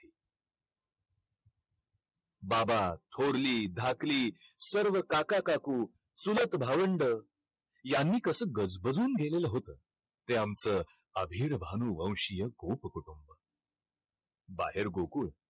बाबा, थोरली, धाकली, सर्व काका-काकू, चुलत भावंडं यांनी कसं गजबाजून गेलेलं होतं. ते आमचं आभीरभानूवंशीय कुटुंब. बाहेर गोकुळ